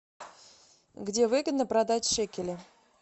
где выгодно продать шекели